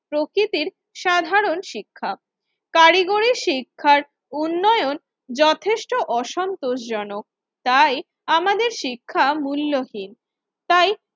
প্রাকৃতির সাধারণ শিক্ষা। কারিগরি শিক্ষার উন্নয়ন যথেষ্ট অসন্তোষজন তাই আমাদের শিক্ষা মূল্যহীন, তাই